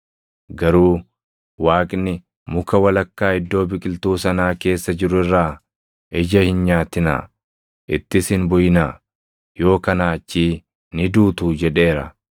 garuu Waaqni, ‘Muka walakkaa iddoo biqiltuu sanaa keessa jiru irraa ija hin nyaatinaa; ittis hin buʼinaa; yoo kanaa achii ni duutuu’ jedheera.”